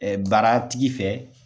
baara tigi fɛ